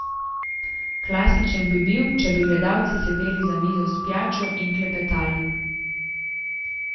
Klasičen bi bil, če bi gledalci sedeli za mizo s pijačo in klepetali.